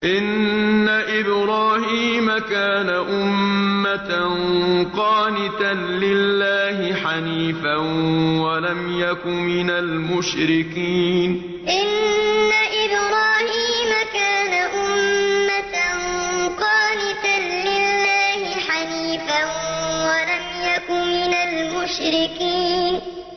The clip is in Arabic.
إِنَّ إِبْرَاهِيمَ كَانَ أُمَّةً قَانِتًا لِّلَّهِ حَنِيفًا وَلَمْ يَكُ مِنَ الْمُشْرِكِينَ إِنَّ إِبْرَاهِيمَ كَانَ أُمَّةً قَانِتًا لِّلَّهِ حَنِيفًا وَلَمْ يَكُ مِنَ الْمُشْرِكِينَ